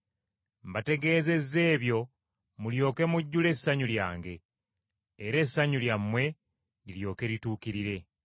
Mbategeezezza ebyo mulyoke mujjule essanyu lyange. Era essanyu lyammwe liryoke lituukirire.